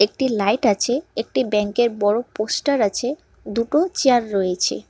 একটি লাইট আছে একটি ব্যাংকের বড়ো পোস্টার আছে দুটো চেয়ার রয়েছে।